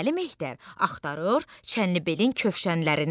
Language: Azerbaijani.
Dəli Mehter axtarır Çənlibelin kövşənlərini.